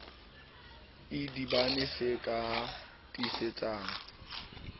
idibane se ka o tiisetsang